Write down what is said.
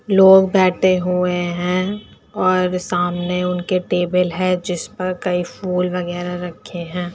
लोग बैठे हुए हैं और सामने उनके टेबल है जिस पर कई फूल वगेरह रखे हैं।